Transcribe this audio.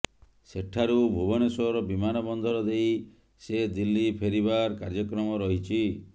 ସେଠାରୁ ଭୁବନେଶ୍ୱର ବିମାନ ବନ୍ଦର ଦେଇ ସେ ଦିଲ୍ଲୀ ଫେରିବାର କାର୍ଯ୍ୟକ୍ରମ ରହିଛି